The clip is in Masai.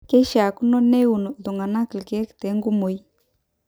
keishakino neun iltunganak ilkeek tenkumoi